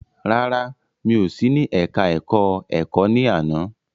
Rárá, mi ò sí ní ẹka ẹ̀kọ́ ẹ̀kọ́ ní àná.